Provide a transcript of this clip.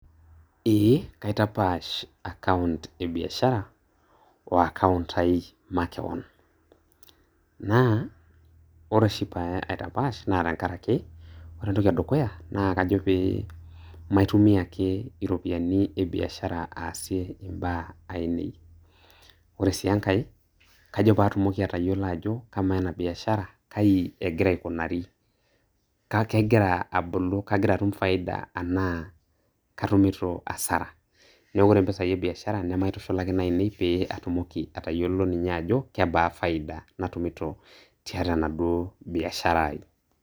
Eeh, kaitapash account e biashara o account ai makeon. Naa ore oshi pee aitapaash naa tenkarake, ore entoki edukuya naa kajo pee maitumia ake iropiyiani ebiashara aasie imbaa ainei. Ore sii enkae kajo paatumoki atayiolo ajo kamaa ena biashara kai egira aikunari? Ka kegira abulu kagira atum faida anaa katumito hasara? Neeku ore mpisai ebiashara nemaitushulaki nainei pee atumoki atayiolo ninye ajo kebaa faida natumito tiatua enaduo biashara ai.